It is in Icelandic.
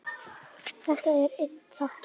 Þetta er einn þáttur.